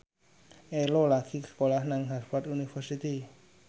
Ello lagi sekolah nang Harvard university